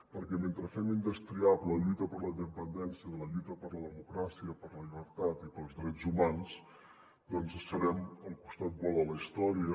perquè mentre fem indestriable la lluita per la independència de la lluita per la democràcia per la llibertat i pels drets humans doncs serem al costat bo de la història